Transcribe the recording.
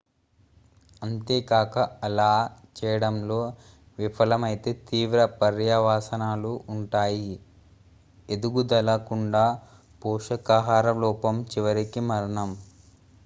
అంతేకాక అలా చేయడంలో విఫలమైతే తీవ్ర పర్యవసానాలు ఉంటాయి: ఎదుగుదల కుండ పోషకాహార లోపం చివరికి మరణం